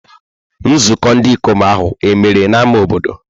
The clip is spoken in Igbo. Nzukọ ndị ikom ahụ e mere n'ámá obodo?